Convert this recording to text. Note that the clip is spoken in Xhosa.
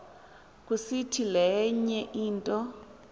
kusiti lenye into